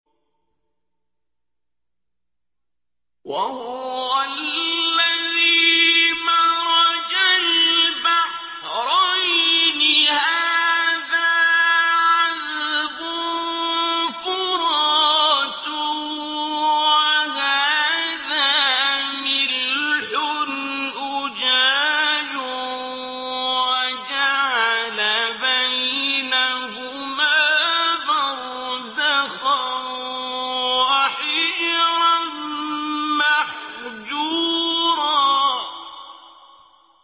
۞ وَهُوَ الَّذِي مَرَجَ الْبَحْرَيْنِ هَٰذَا عَذْبٌ فُرَاتٌ وَهَٰذَا مِلْحٌ أُجَاجٌ وَجَعَلَ بَيْنَهُمَا بَرْزَخًا وَحِجْرًا مَّحْجُورًا